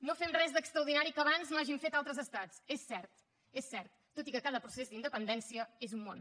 no fem res d’extraordinari que abans no hagin fet altres estats és cert és cert tot i que cada procés d’independència és un món